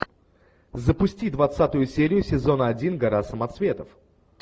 запусти двадцатую серию сезона один гора самоцветов